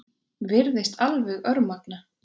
Virðist alveg örmagna.